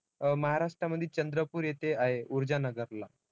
अं महाराष्ट्रमध्ये चंद्रपूर येथे आहे ऊर्जानगरला.